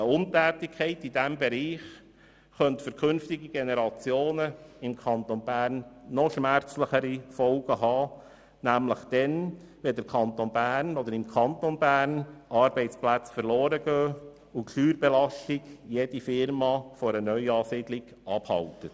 Eine Untätigkeit in diesem Bereich könnte für künftige Generationen im Kanton Bern noch schmerzlichere Folgen haben, indem im Kanton Bern Arbeitsplätze verloren gehen und die Steuerbelastung jede Firma von einer Neuansiedlung abhält.